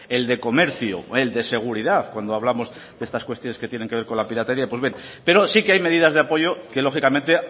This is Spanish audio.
el de comercio el de seguridad cuando hablamos de estas cuestiones que tienen que ver con la piratería pues bien pero sí que hay medidas de apoyo que lógicamente